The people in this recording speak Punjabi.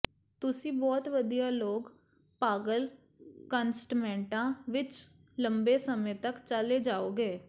ਤੁਸੀਂ ਬਹੁਤ ਵਧੀਆ ਲੋਕ ਪਾਗਲ ਕੰਸਟਮੈਂਟਾਂ ਵਿੱਚ ਲੰਬੇ ਸਮੇਂ ਤੱਕ ਚਲੇ ਜਾਓਗੇ